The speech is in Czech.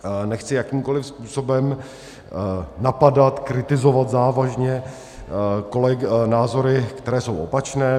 Nechci jakýmkoli způsobem napadat, kritizovat závažně názory, které jsou opačné.